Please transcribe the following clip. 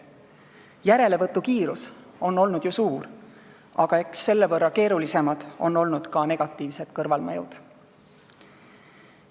Järelevõtukiirus on olnud ju suur, aga eks selle võrra keerulisemad ole olnud ka negatiivsed kõrvalmõjud.